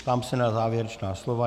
Ptám se na závěrečná slova.